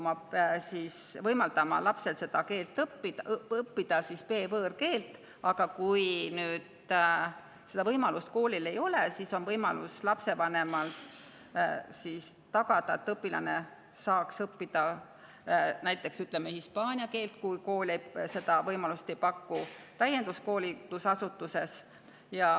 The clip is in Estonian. Kool peab võimaldama lapsel õppida B‑võõrkeelt, aga kui koolil seda võimalust ei ole, siis on võimalus, et lapsevanem tagab, et õpilane saaks õppida näiteks hispaania keelt, kui kool seda võimalust ei paku, täienduskoolitusasutuses.